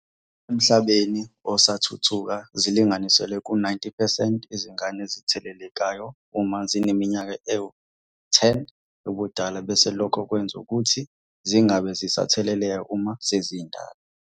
Emhlabeni osathuthuka zilinganiselwa ku-90 percent izingane ezithelelekayo uma zineminyaka ewu-10 yobudala bese lokho kwenza ukuthi zingabe zisatheleleka uma sezindala.